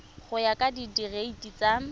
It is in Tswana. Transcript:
go ya ka direiti tsa